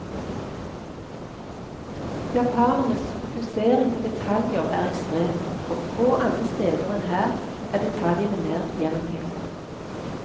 Japanernes fokusering på detaljer er ekstrem, og få andre steder enn her er detaljene mer gjennomtenkte.